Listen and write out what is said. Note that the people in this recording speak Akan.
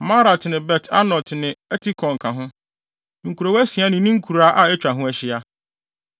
Maarat ne Bet-Anot ne Eltekon ka ho, nkurow asia ne ne nkuraa a atwa ho ahyia.